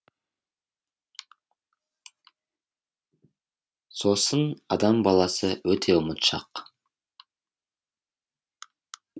сосын адам баласы өте ұмытшақ